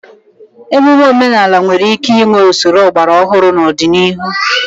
Ememe omenala nwere ike inwe usoro ọgbara ọhụrụ n'ọdịnihu